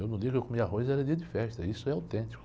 Eu no dia que eu comia arroz, era dia de festa, isso é autêntico.